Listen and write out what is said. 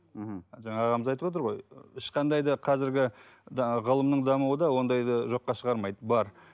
мхм жаңа ағамыз айтып отыр ғой ешқандай да қазіргі жаңағы ғылымның дамуында ондайды жоққа шығармайды бар